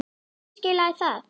Hverju skilaði það?